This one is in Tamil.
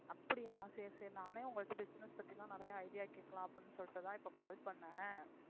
அப்படியா சரி சரி நானே உங்கள்ட்ட business பத்தி தான் நிறைய idea கேட்கலாம் அப்படின்னு சொல்லிட்டுதான் இப்ப call பண்ணேன்